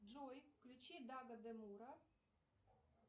джой включи дага демура